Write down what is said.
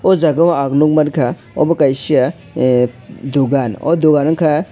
o jaga o ang nog mang ka obo kaisa dogan o dogan ungka.